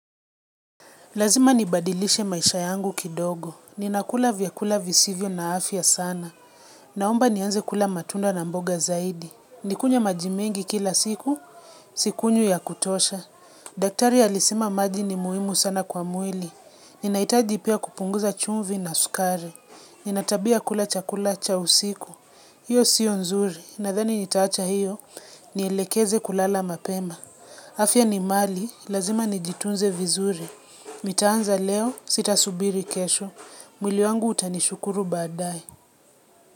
Lazima nibadilishe maisha yangu kidogo. Ninakula vyakula visivyo na afya sana. Naomba nianze kula matunda na mboga zaidi. Nikunywe majimengi kila siku, sikunywi ya kutosha. Daktari alisema maji ni muhimu sana kwa mwili. Ninahitaji pia kupunguza chumvi na sukari. Nina tabia ya kula chakula cha usiku. Hiyo siyo nzuri. Nadhani nitaacha hiyo, nielekeze kulala mapema. Afya ni mali, lazima nijitunze vizuri. Nitaanza leo sitasubiri kesho. Mwili wangu utanishukuru badae.